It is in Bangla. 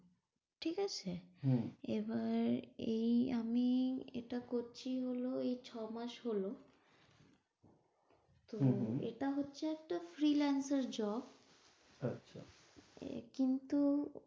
ঠিক আছে। হম এবার এই আমি এটা করছি হল, এই ছ মাস হল। তো এটা হচ্ছে একটা freelancerjob আচ্ছা কিন্তু,